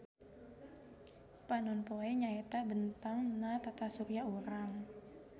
Panonpoe nyaeta bentang na tatasurya urang.